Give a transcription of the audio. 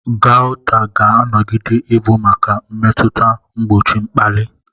Gaụta ga-anọgide ị bụ maka mmetụta mgbochi mkpali.